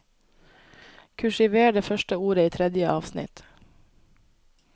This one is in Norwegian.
Kursiver det første ordet i tredje avsnitt